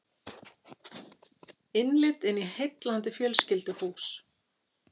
Innlit í heillandi fjölskylduhús